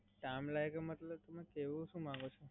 Time લાગે મતલબ તમે કેહવા શું માંગો છો?